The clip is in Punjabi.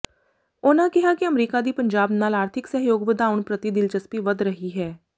ਉਨ੍ਹਾਂ ਕਿਹਾ ਕਿ ਅਮਰੀਕਾ ਦੀ ਪੰਜਾਬ ਨਾਲ ਆਰਥਿਕ ਸਹਿਯੋਗ ਵਧਾਉਣ ਪ੍ਰਤੀ ਦਿਲਚਸਪੀ ਵਧ ਰਹੀ ਹੈ